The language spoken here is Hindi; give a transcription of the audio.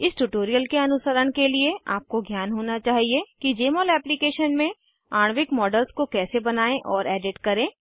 इस ट्यूटोरियल के अनुसरण के लिए आपको ज्ञान होना चाहिए कि जमोल एप्लीकेशन में आणविक मॉडल्स को कैसे बनायें और एडिट करें